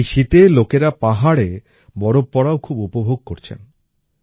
এই শীতে লোকেরা পাহাড়ে বরফ পড়াও খুব উপভোগ করেছেন